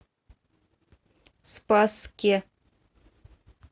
спасске